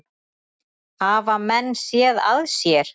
Hafa menn séð að sér?